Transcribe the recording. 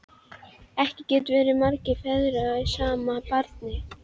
Ekki geta verið margir feður að sama barni!